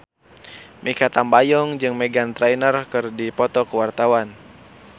Mikha Tambayong jeung Meghan Trainor keur dipoto ku wartawan